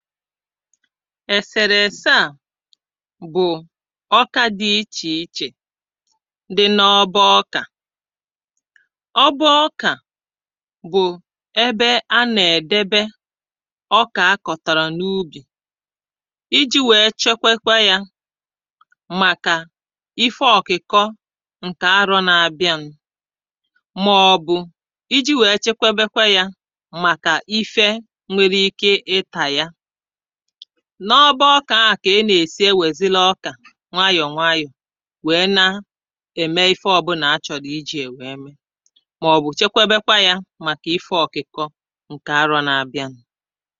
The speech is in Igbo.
èsèrèsè a bụ̀ ọkȧ dị ichè ichè, dị n’ọba ọkà [paues]ọba ọkà bụ ebe a nà-èdebe ọkà a kọ̀tàrà n’ubì ,iji̇ wee chekwekwe ya màkà ife ọ̀kukọ ǹkè arọ̇ n’abịa nù màọ̀bụ̀ iji̇ wee chekwebekwe ya màkà ife nwere ike ịtà ya. n’ọba ọkà ahụ kà ị nà-èsi e wè ziri ọkà nwayọ̀ nwayọ̀ wèe na-ème ife ọ̀bụlà achọ̀rọ iji̇ ya nwèe mee màọbụ̀ chekweebekwa yȧ màkà ife ọ̀kukọ ǹkè arọ̇ nà-àbịanu